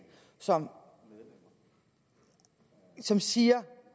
som som siger